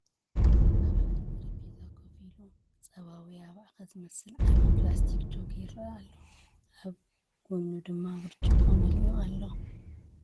እዚ ኣብ ሓደ ጠረጴዛ ኮፍ ኢሉ፡ ጸባ ወይ ኣባዕከ ዝመልአ ዓቢ ፕላስቲክ ጀክ ይረአ ኣሎ፡ ኣብ ጎድኑ ድማ ብርጭቆ መሊኡ ኣሎ።